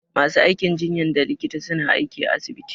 Ma su aikin jinyan da likita suna aiki à asibiti.